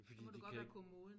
Så må du godt være kommoden